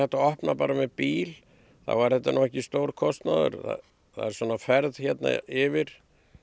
að opna bara með bíl þá er þetta nú ekki stór kostnaður svona ferð hérna yfir